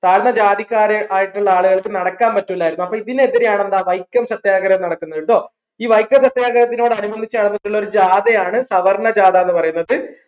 താഴ്ന്ന ജാതിക്കാരെ ആയിട്ടുള്ള ആളുകൾക്ക് നടക്കാൻ പറ്റൂലായിരുന്നു അപ്പോ ഇതിന് എതിരെയാണ് എന്താ വൈക്കം സത്യാഗ്രഹം നടക്കുന്നത് ട്ടോ ഈ വൈക്കം സത്യാഗ്രഹത്തിനോടനുബന്ധിച്ച് നടന്നിട്ടുള്ള ഒരു ജാഥയാണ് സവർണ്ണ ജാഥ എന്ന് പറയുന്നത്